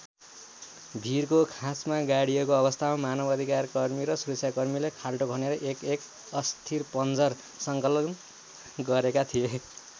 भीरको खोँचमा गाडिएको अवस्थामा मानव अधिकारकर्मी र सुरक्षाकर्मीले खाल्डो खनेर एकएक अस्थिपञ्जर सङ्कलन गरेका थिए।